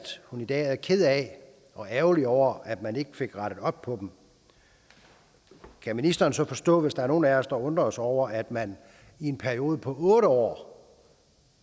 hun i dag er ked af og ærgerlig over at man ikke fik rettet op på dem kan ministeren så forstå hvis der er nogle af os der undrer sig over at man i en periode på otte år